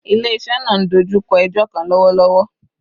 Ile-iṣẹ naa n dojukọ ẹjọ kan lọwọlọwọ